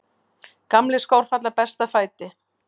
Gamlir skór falla best að fæti.